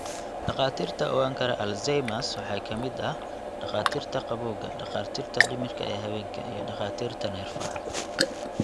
Dhakhaatiirta ogaan kara Alzheimers waxaa ka mid ah takhaatiirta gabowga, dhakhaatiirta dhimirka ee haweenka, iyo dhakhaatiirta neerfaha.